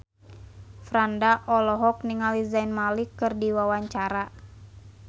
Franda olohok ningali Zayn Malik keur diwawancara